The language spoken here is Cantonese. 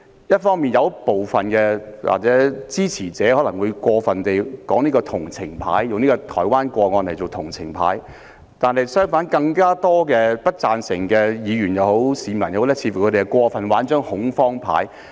一方面，部分支持者可能過分地用台灣的個案打同情牌；另一方面，更多不贊成修例的議員或市民似乎過分地打恐慌牌。